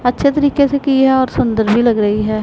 अच्छे तरीके से कि है और सुंदर भी लग रही है।